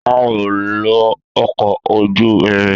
A o lo ọkọ ojú irin.